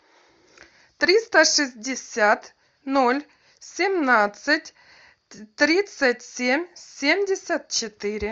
триста шестьдесят ноль семнадцать тридцать семь семьдесят четыре